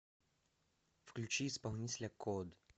включи исполнителя код